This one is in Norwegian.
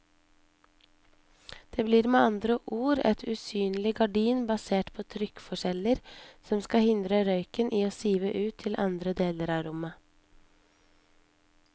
Det blir med andre ord et usynlig gardin basert på trykkforskjeller som skal hindre røyken i å sive ut til andre deler av rommet.